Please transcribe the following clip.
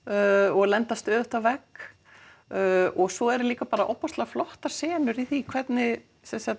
og lenda stöðugt á vegg og svo eru líka bara ofboðslega flottar senur í því hvernig